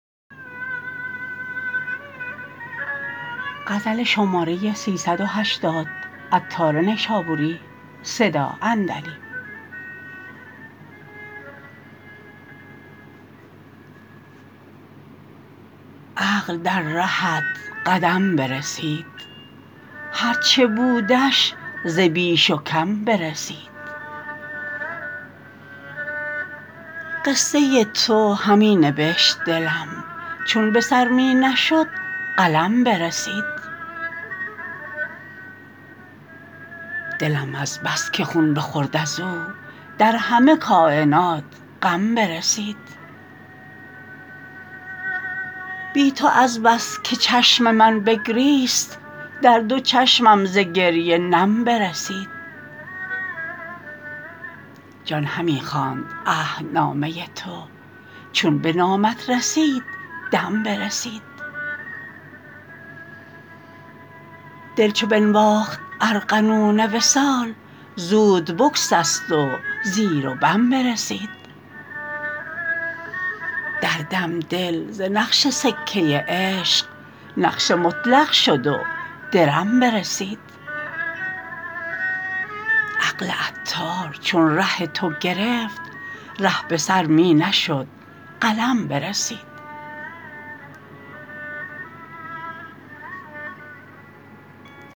عقل را در رهت قدم برسید هر چه بودش ز بیش و کم برسید قصه تو همی نبشت دلم چون به سر می نشد قلم برسید دلم از بس که خون بخورد از او در همه کاینات غم برسید بی تو از بس که چشم من بگریست در دو چشمم ز گریه نم برسید جان همی خواند عهدنامه تو چون به نامت رسید دم برسید دل چو بنواخت ارغنون وصال زود بگسست و زیر و بم برسید در دمی دل ز نقش سکه عشق نقش مطلق شد و درم برسید عقل عطار چون ره تو گرفت ره به سر می نشد قلم برسید